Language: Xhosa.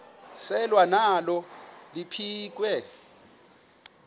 selwa nalo liphekhwe